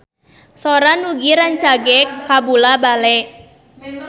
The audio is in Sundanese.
Sora Nugie rancage kabula-bale